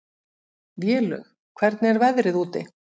Vélaug, hvernig er veðrið úti?